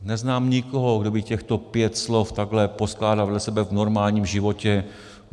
Neznám nikoho, kdo by těchto pět slov takhle poskládal vedle sebe v normálním životě.